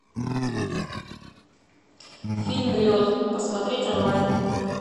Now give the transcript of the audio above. фильм лед посмотреть онлайн